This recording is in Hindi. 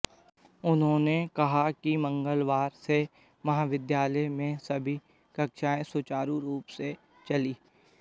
उन्होंने कहा कि मंगलवार से महाविद्यालय में सभी कक्षाएं सुचारू रूप से चलीं